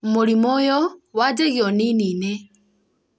mũrimũ ũyũ wanjagia unini-inĩ